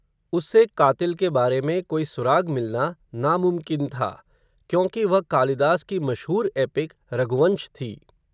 उससे क़ातिल के बारे में, कोई सुराग़ मिलना नामुमकिन था, क्योंकि वह, कालिदास की मशहूर एपिक रघुवंश थी